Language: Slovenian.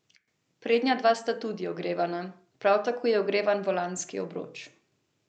Halo?